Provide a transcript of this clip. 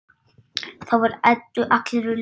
Þá var Eddu allri lokið.